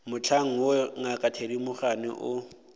mohlang woo ngaka thedimogane o